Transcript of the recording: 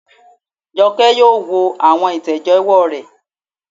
Jọkẹ́ yóò wo àwọn ìtẹ̀jẹ́wọ́ rẹ̀